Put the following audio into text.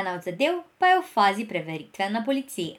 ena od zadev pa je v fazi preveritve na policiji.